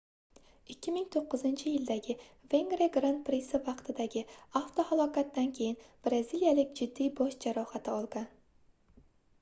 2009-yildagi vengriya gran prisi vaqtidagi avtohalokatdan keyin braziliyalik jiddiy bosh jarohati olgan